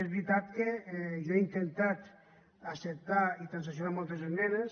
és veritat que jo he intentat acceptar i transaccionar moltes esmenes